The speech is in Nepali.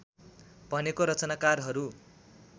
भनेको रचनाकारहरू